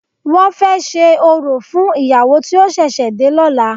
Wọ́n fẹ́ ṣe orò fún ìyàwó tí ó ṣẹ̀ṣẹ̀ dé lọ́la.